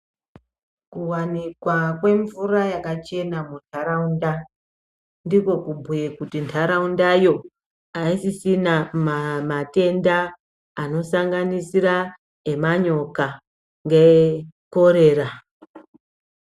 Kuwanikwa kwemvura yakachena mundaraunda ndiko kubhuye kuti ndaraunda yo aisisina matenda anosanganisira emanyoka ngekorera.